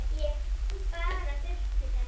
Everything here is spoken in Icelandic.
Ég bara þurfti þess.